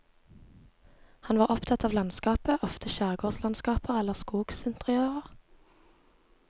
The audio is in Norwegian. Han var opptatt av landskapet, ofte skjærgårdslandskaper eller skogsinteriører.